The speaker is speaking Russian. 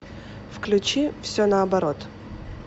включи все наоборот